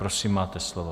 Prosím, máte slovo.